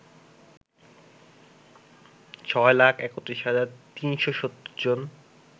ছয় লাখ ৩১ হাজার ৩৭০ জন